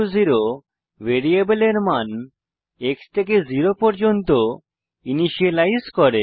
x0 ভ্যারিয়েবলের মান x থেকে জেরো পর্যন্ত ইনিসিয়েলাইজ করে